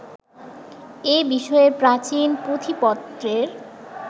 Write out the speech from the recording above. এ-বিষয়ে প্রাচীন পুঁথিপত্রের